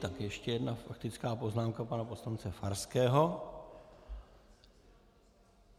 Tak ještě jedna faktická poznámka pana poslance Farského.